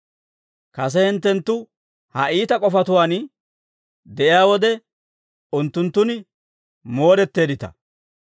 Kase hinttenttu ha iita k'ofatuwaan de'iyaa wode unttunttun moodetteeddita.